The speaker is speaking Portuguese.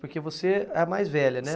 Porque você é a mais velha, né?